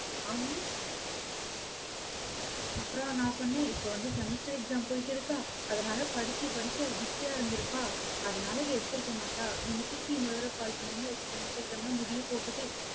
ஆமா அப்புறம் நான் சொன்னேன் இப்ப வந்து semester exam போயிட்டிருக்கா? அதனால, படிச்சு படிச்சு அவ busy ஆ இருந்திருப்பா. அதனால எடுத்திருக்கமாட்டா. நீங்க திருப்பி இன்னொரு தடவை call பண்ணுங்க semester exam லாம் முடியப்போகுது.